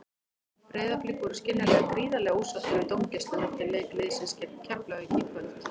Breiðablik voru skiljanlega gríðarlega ósáttir við dómgæsluna eftir leik liðsins gegn Keflavík í kvöld.